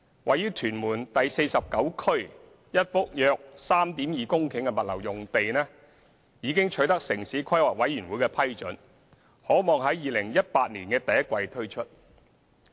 位於屯門第49區一幅約 3.2 公頃的物流用地已取得城市規劃委員會批准，可望於2018年第一季推出。